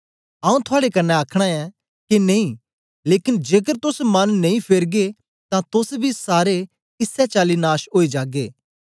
आऊँ थुआड़े कन्ने आखना ऐ के नेई लेकन जेकर तोस मन नेई फेरगे तां तोस बी सारे इसै चाली नाश ओई जागे